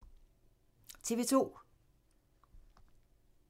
TV 2